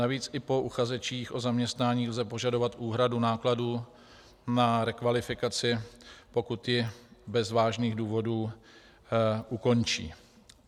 Navíc i po uchazečích o zaměstnání lze požadovat úhradu nákladů na rekvalifikaci, pokud ji bez vážných důvodů ukončí.